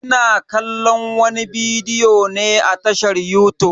Ina kallon wani bidiyo ne a tashar yutub.